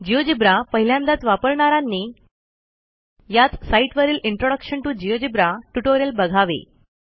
GeoGebra पहिल्यांदाच वापरणारांनी याच साईटवरील इंट्रोडक्शन टीओ जिओजेब्रा ट्युटोरियल बघावे